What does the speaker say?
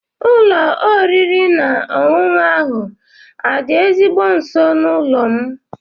Ụlọ oriri na ọṅụṅụ ahụ adị ezigbo nso n'ụlọ m?